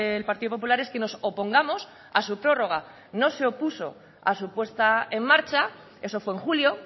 el partido popular es que nos opongamos a su prórroga no se opuso a su puesta en marcha eso fue en julio